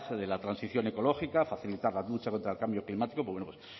de la transición ecológica facilitar la lucha contra el cambio climático